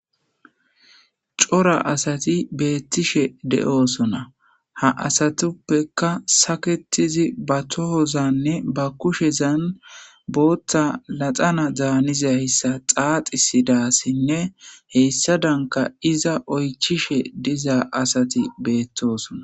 Cora asati beetishe de'osona ha asatuppeka sakeyidi ba tohozanne ba kushezan bootha paxana daaniza miishata xaaxisida asinne hessadanke iza oychishe diza asi beetosona.